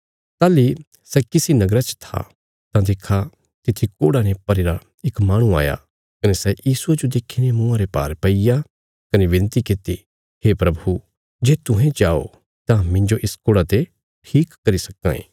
ताहली सै किसी नगरा च था तां देक्खा तित्थी कोढ़ा ने भरीरा इक माहणु आया कने सै यीशुये जो देखीने मुँआं रे भार पैईग्या कने विनती कित्ती हे प्रभु जे तुहें चाओ तां मिन्जो इस कोढ़ा ते ठीक करी सक्कां ये